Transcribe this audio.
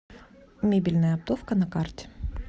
мебельная оптовка на карте